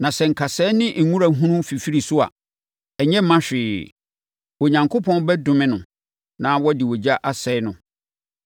Na sɛ nkasɛɛ ne wura hunu fifiri so a, ɛnyɛ mma hwee. Onyankopɔn bɛdome no na wɔde ogya asɛe no.